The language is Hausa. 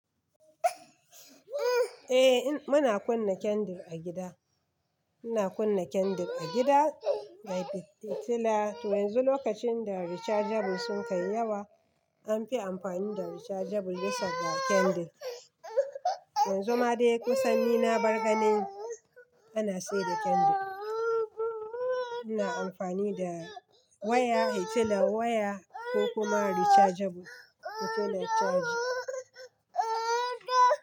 Eh muna kunna candle a gida. Muna kunna candle a gida, da fitila. To yanzu lokacin da rechargeable sun kai yawa, an fi amfani da rechargeable bisa ga candle. Yanzu ma dai kusan ni na barganin ana siyar da candle. Ina amfani da waya, fitilan waya ko kuma rechargeable fitila charging.